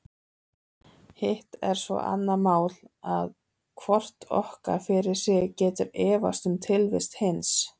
Hitt er svo annað mál að hvort okkar fyrir sig getur efast um tilvist hins.